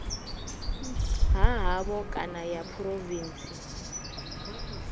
ha havho kana ya phurovintsi